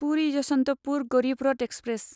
Puri Yesvantpur Garib Rath express